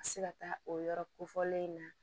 A bɛ se ka taa o yɔrɔ kofɔlen in na